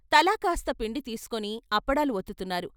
తలాకాస్త పిండి తీసు కుని అప్పడాలు వత్తుకున్నారు.